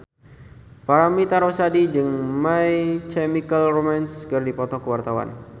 Paramitha Rusady jeung My Chemical Romance keur dipoto ku wartawan